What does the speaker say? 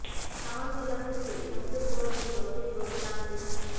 সামান্য এলাকা জুড়ে সন্ধ্যের পর সেই রথের দড়ি টানতে